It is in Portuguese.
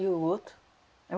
E o outro? É,